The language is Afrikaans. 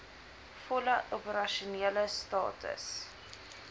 volle opersasionele status